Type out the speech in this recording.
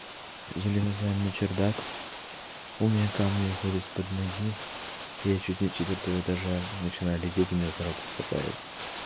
залезаем на чердак у меня камни выходят из под ноги и я чуть не с четвёртого этажа начинаю лететь и меня за руку хватают